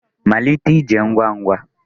Malite ije ngwa ngwa